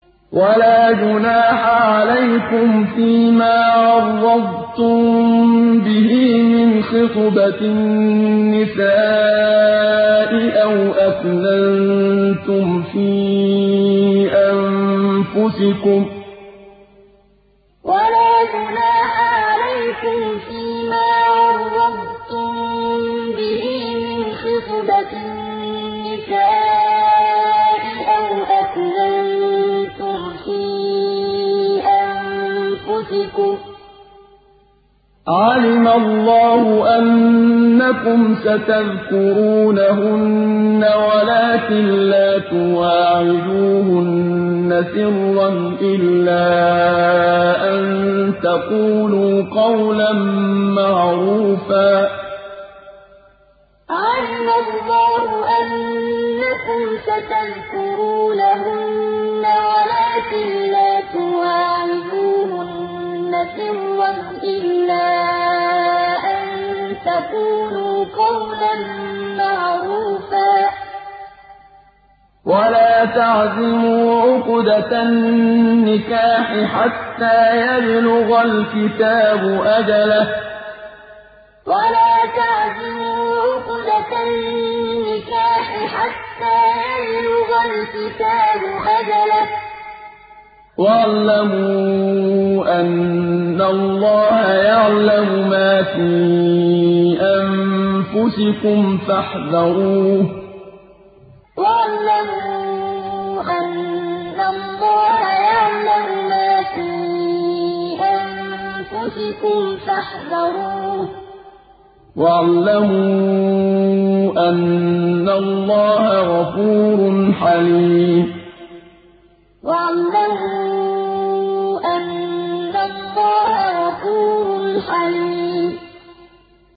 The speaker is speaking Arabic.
وَلَا جُنَاحَ عَلَيْكُمْ فِيمَا عَرَّضْتُم بِهِ مِنْ خِطْبَةِ النِّسَاءِ أَوْ أَكْنَنتُمْ فِي أَنفُسِكُمْ ۚ عَلِمَ اللَّهُ أَنَّكُمْ سَتَذْكُرُونَهُنَّ وَلَٰكِن لَّا تُوَاعِدُوهُنَّ سِرًّا إِلَّا أَن تَقُولُوا قَوْلًا مَّعْرُوفًا ۚ وَلَا تَعْزِمُوا عُقْدَةَ النِّكَاحِ حَتَّىٰ يَبْلُغَ الْكِتَابُ أَجَلَهُ ۚ وَاعْلَمُوا أَنَّ اللَّهَ يَعْلَمُ مَا فِي أَنفُسِكُمْ فَاحْذَرُوهُ ۚ وَاعْلَمُوا أَنَّ اللَّهَ غَفُورٌ حَلِيمٌ وَلَا جُنَاحَ عَلَيْكُمْ فِيمَا عَرَّضْتُم بِهِ مِنْ خِطْبَةِ النِّسَاءِ أَوْ أَكْنَنتُمْ فِي أَنفُسِكُمْ ۚ عَلِمَ اللَّهُ أَنَّكُمْ سَتَذْكُرُونَهُنَّ وَلَٰكِن لَّا تُوَاعِدُوهُنَّ سِرًّا إِلَّا أَن تَقُولُوا قَوْلًا مَّعْرُوفًا ۚ وَلَا تَعْزِمُوا عُقْدَةَ النِّكَاحِ حَتَّىٰ يَبْلُغَ الْكِتَابُ أَجَلَهُ ۚ وَاعْلَمُوا أَنَّ اللَّهَ يَعْلَمُ مَا فِي أَنفُسِكُمْ فَاحْذَرُوهُ ۚ وَاعْلَمُوا أَنَّ اللَّهَ غَفُورٌ حَلِيمٌ